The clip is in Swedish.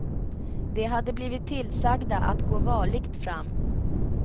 De hade blivit tillsagda att gå varligt fram.